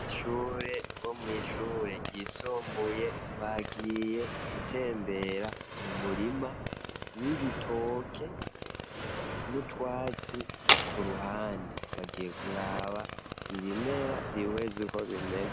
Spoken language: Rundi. Ishure bo mwishure ryisumbuye bagiye gutembera mu murima w'ibitoke n'utwatsi ku ruhande, bagiye kuraba ibimera bihweze uko bimeze.